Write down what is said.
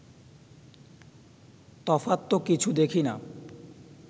তফাৎ তো কিছু দেখি না